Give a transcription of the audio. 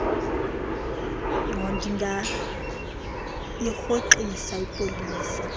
q ndingayirhoxisa ipolisi